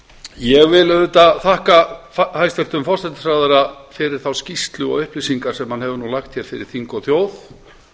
ég vil auðvitað þakka hæstvirtum forsætisráðherra fyrir þá skýrslu og upplýsingar sem hann hefur lagt fyrir þing og þjóð